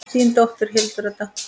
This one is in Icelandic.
Þín dóttir, Hildur Edda.